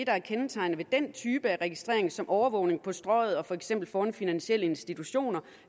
er kendetegnet ved den type registrering som overvågning på strøget og for eksempel foran finansielle institutioner